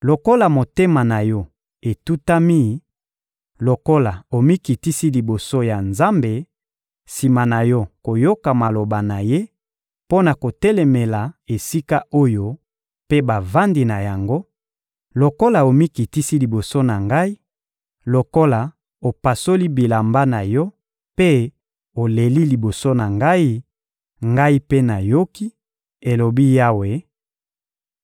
Lokola motema na yo etutami, lokola omikitisi liboso ya Nzambe sima na yo koyoka maloba na Ye mpo na kotelemela esika oyo mpe bavandi na yango, lokola omikitisi liboso na Ngai, lokola opasoli bilamba na yo mpe oleli liboso na Ngai, Ngai mpe nayoki,› elobi Yawe,